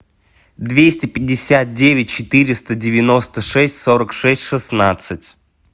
двести пятьдесят девять четыреста девяносто шесть сорок шесть шестнадцать